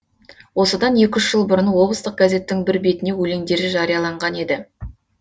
осыдан екі үш жыл бұрын облыстық газеттің бір бетіне өлеңдері жарияланған еді